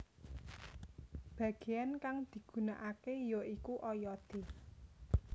Bageyan kang digunakake ya iku oyode